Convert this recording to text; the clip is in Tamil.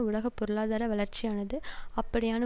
உலக பொருளாதார வளர்ச்சியானது அப்படியான